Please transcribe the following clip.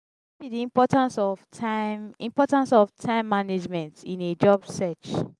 wetin be di importance of time importance of time management in a job search?